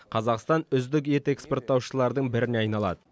қазақстан үздік ет экспорттаушылардың біріне айналады